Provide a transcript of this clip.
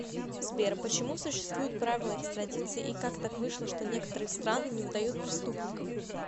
сбер почему существуют правила экстрадиции и как так вышло что некоторые страны не выдают преступников